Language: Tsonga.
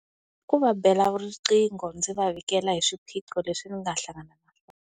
I ku va bela riqhingho ndzi va vikela hi swiphiqo leswi ni nga hlangana na swona.